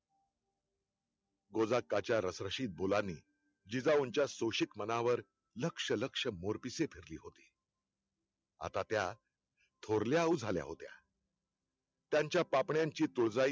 गोदाआक्काच्या रशरशीत बोलांनी जिजाऊच्या शोषित मनावर लक्ष लक्ष मोरपिसे फिरली होती. आता त्यां थोरल्या आऊ झाल्याहोत्या. त्यांच्या पापण्यांची तोरजाई